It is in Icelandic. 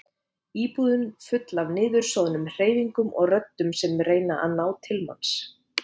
Íbúðin full af niðursoðnum hreyfingum og röddum sem reyna að ná til manns.